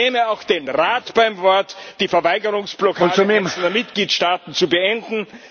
Ich nehme auch den Rat beim Wort, die Verweigerungsblockaden einzelner Mitgliedstaaten zu beenden.